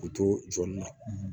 U to jɔli la